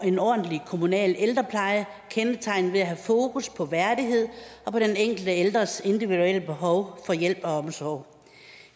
en ordentlig kommunal ældrepleje kendetegnet ved at have fokus på værdighed og på den enkelte ældres individuelle behov for hjælp og omsorg